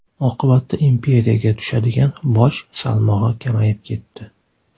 Oqibatda imperiyaga tushadigan boj salmog‘i kamayib ketdi.